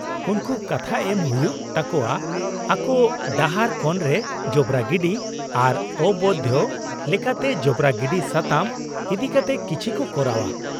-ᱩᱱᱠᱩ ᱠᱟᱛᱷᱟ ᱮᱢ ᱦᱩᱭᱩᱜ ᱛᱟᱠᱚᱣᱟ ᱟᱠᱚ ᱰᱟᱦᱟᱨ ᱠᱳᱱᱨᱮ ᱡᱚᱵᱨᱟ ᱜᱤᱰᱤ ᱟᱨ ᱚᱵᱳᱭᱫᱷᱚ ᱞᱮᱠᱟᱛᱮ ᱡᱚᱵᱨᱟ ᱜᱤᱰᱤ ᱥᱟᱛᱟᱢ ᱤᱫᱤᱠᱟᱛᱮ ᱠᱤᱪᱷᱤ ᱠᱚ ᱠᱚᱨᱟᱣᱼᱟ ᱾